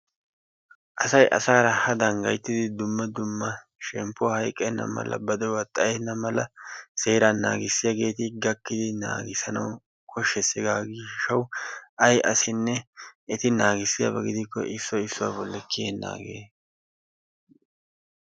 Asay asaara hadan gayttidi dumma dumma shemppuwa hayqqenna mala ba de'uwaa xayyena mala seeraa naagissiyaageeti gakkidi naagissanawu koshshees. hegaa gishshawu ay asinne eti naagissiyaaba gidikko issoy issuwa bolli kiyyenaage...